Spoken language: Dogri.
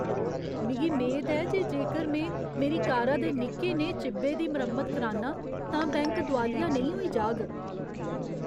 मिगी मेद ऐ जे जेकर में मेरी कारा दे निक्के नेहे चिब्बै दी मरम्मत करान्नां तां बैंक दोआलिया नेईं होई जाह्ग।